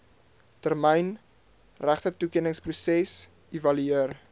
termyn regtetoekenningsproses evalueer